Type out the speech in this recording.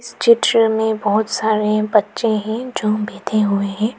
चित्र में बहुत सारे बच्चे हैं जो बैठे हुए हैं।